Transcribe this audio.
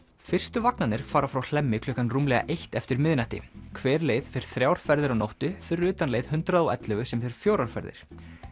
fyrstu vagnarnir fara frá Hlemmi klukkan rúmlega eitt eftir miðnætti hver leið fer þrjár ferðir á nóttu fyrir utan leið hundrað og ellefu sem fer fjórar ferðir